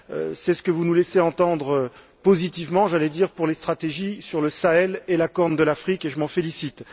C'est ce que vous nous laissez entendre positivement pour les stratégies sur le Sahel et la Corne de l'Afrique, et je m'en félicite.